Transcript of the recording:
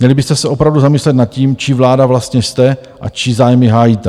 Měli byste se opravdu zamyslet nad tím, či vláda vlastně jste a čí zájmy hájíte.